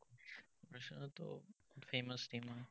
বাৰ্চেলোনাতো famous team হয়।